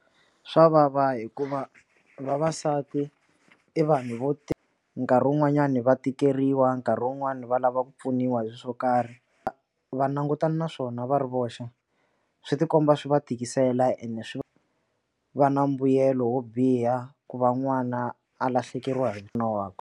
Swa vava hikuva vavasati i vanhu vo nkarhi wun'wanyani va tikeriwa nkarhi wun'wani va lava ku pfuniwa hi swilo swo karhi va langutana na swona va ri voxe swi tikomba swi va tikisela ene swi va na mbuyelo wo biha ku va n'wana a lahlekeriwa hi nuna wakwe.